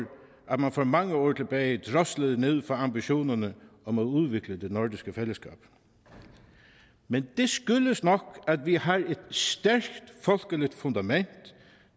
man for mange år tilbage droslede ned for ambitionerne om at udvikle det nordiske fællesskab men det skyldes nok at vi har et stærkt folkeligt fundament